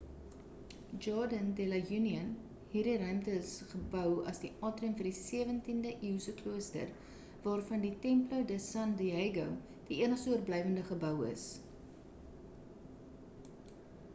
jardín de la unión. hierdie ruimte is gebou as die atrium vir die 17de-eeuse klooster waarvan die templo de san diego die enigste oorblywende’ gebou is